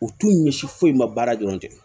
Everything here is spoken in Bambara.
U t'u ɲɛsi foyi ma baara dɔrɔn tɛ